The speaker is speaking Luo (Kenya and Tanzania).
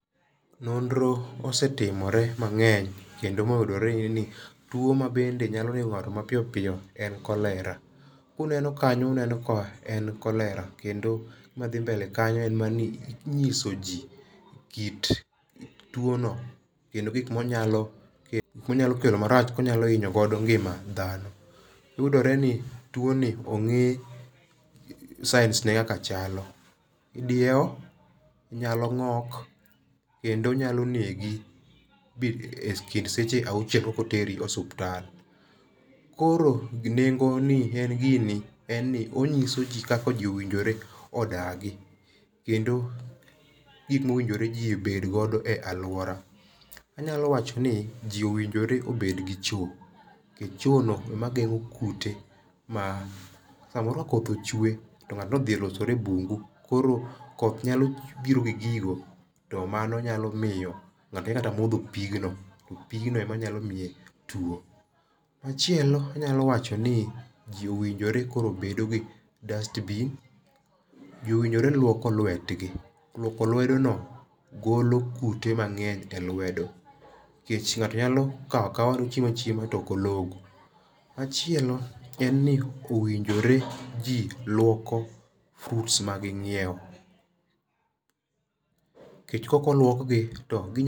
Nonro osetimore mang'eny kendo moyudore ni tuo mabende nyalo nego ng'ato mapiyo en cholera. Ka uneno kanyo uneno ka en cholera kendo gima dhi mbele kanyo en mana ni inyiso ji kit tuono kendo gik ma onyalo kelo marach ma onyalo hinyo godo ngima dhano. Yudore ni tuoni ong'e signs ne kaka chalo. Idiewo, inyalo ng'ok kendo onyalo negi ekind seche auchiel kapok oteri e osiptal. Koro nengo ni en gini en ni onyiso ji kaka ji owinjore odagi kendo gik mowinjore ji obedgo e aluora. Anyalo wacho ni ji owinjore obed gi choo nikech choo no ema geng'o kute, samoro koth ochwe to ng'ato odhi losore e bungu koro koth nyalo biro gi gigo to mano nyalo miyo ng'ato nyalo kata modho pigno. Pigno ema nyalo miye tuo. Machielo anyalo wachoni ji owinjore koro obed gi dustbin, ji owinjore luoko luetgi, luoko luedono golo kute mang'eny elwedo nikech ng'ato nyalo kao akawa ochiemo achiema to ok ologo. Machielo en ni owinjore ji luoko fruits maging'iewo nikech kaok oluokgi to ginyal